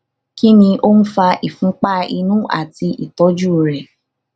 kí ni ó ń fa ìfunpá inú àti ìtọjú rẹ